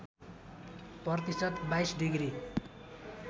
प्रतिशत २२ डिग्री